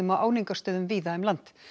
á áningarstöðum víða um land